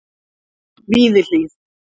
Víðihlíð